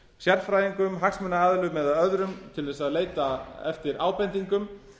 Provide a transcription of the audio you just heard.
sérfræðingum hagsmunaaðilum eða öðrum til að leita eftir ábendingum